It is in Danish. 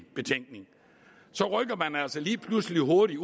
betænkning så rykker man altså lige pludselig hurtigt